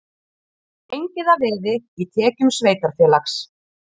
Gengið að veði í tekjum sveitarfélags